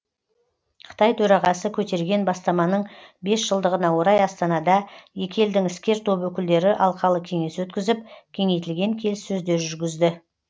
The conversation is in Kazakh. қытай төрағасы көтерген бастаманың бес жылдығына орай астанада екі елдің іскер топ өкілдері алқалы кеңес өткізіп кеңейтілген келіссөздер жүргізді